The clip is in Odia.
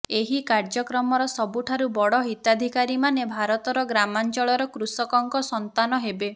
ଏହି କାର୍ଯ୍ୟକ୍ରମର ସବୁଠାରୁ ବଡ ହିତାଧିକାରୀମାନେ ଭାରତର ଗ୍ରାମାଞ୍ଚଳର କୃଷକଙ୍କ ସନ୍ତାନ ହେବେ